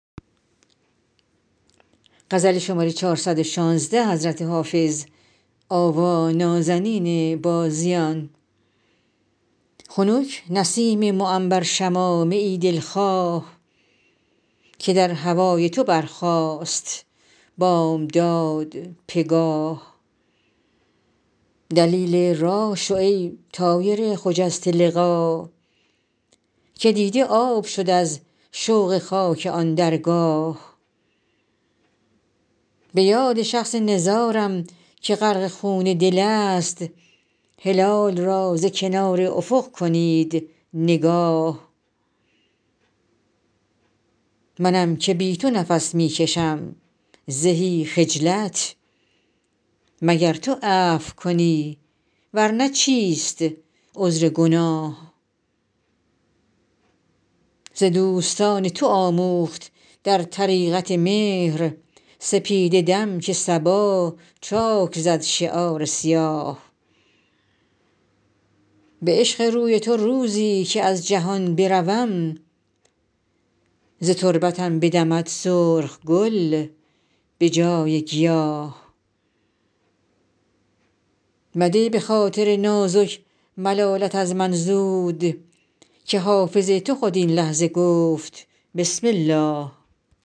خنک نسیم معنبر شمامه ای دل خواه که در هوای تو برخاست بامداد پگاه دلیل راه شو ای طایر خجسته لقا که دیده آب شد از شوق خاک آن درگاه به یاد شخص نزارم که غرق خون دل است هلال را ز کنار افق کنید نگاه منم که بی تو نفس می کشم زهی خجلت مگر تو عفو کنی ور نه چیست عذر گناه ز دوستان تو آموخت در طریقت مهر سپیده دم که صبا چاک زد شعار سیاه به عشق روی تو روزی که از جهان بروم ز تربتم بدمد سرخ گل به جای گیاه مده به خاطر نازک ملالت از من زود که حافظ تو خود این لحظه گفت بسم الله